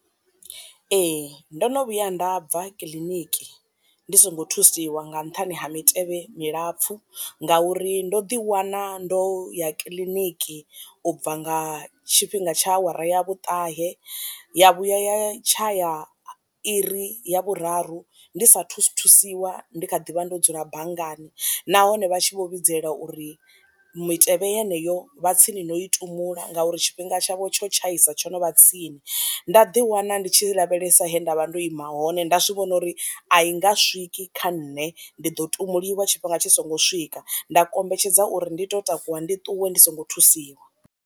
Ee ndo no vhuya nda bva kiḽiniki ndi songo thusiwa nga nṱhani ha mitevhe milapfu ngauri ndo ḓiwana ndo ya kiḽiniki u bva nga tshifhinga tsha awara ya vhuṱahe ya vhuya ya tsha ya iri ya vhuraru ndi sathu thusiwa ndi kha ḓi vha ndo dzula banngani nahone vha tshi vho vhidzelela uri mitevhe yeneyo vha tsini no i tumbula ngauri tshifhinga tshavho tsho tshaisa tsho no vha tsini, nda ḓi wana ndi tshi lavhelesa he nda vha ndo ima hone nda zwivhona uri i nga swiki kha nṋe ndi ḓo ṱumuliwa tshifhinga tshi songo swika nda kombetshedza uri ndi to takuwa ndi ṱuwe ndi songo thusiwa.